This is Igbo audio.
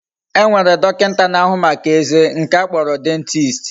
E nwere dokinta na ahu Maka eze, nke a kporo dentist